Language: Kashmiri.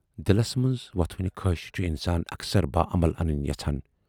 دِلس مَنز وۅتھوٕنہِ خٲہِشہِ چھُ اِنسان اکثر باعمل اَنٕنۍ یَژھان۔